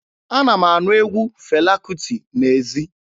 Ana m anụ egwu Fela Kuti n'ezi.